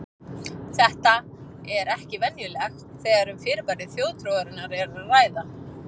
Þetta er ekki venjulegt þegar um fyrirbæri þjóðtrúarinnar er að ræða.